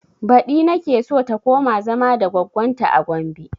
Baɗi nake so ta koma zama da goggon ta a gombe